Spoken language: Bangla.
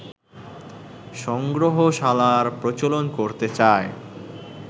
সংগ্রহশালার প্রচলন করতে চায়